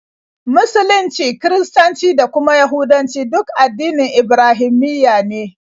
Musulunci, Kiristanci, da kuma Yahudancu duk addinan Ibrahimiyya ne.